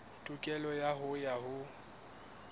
tokelo ya hao ya ho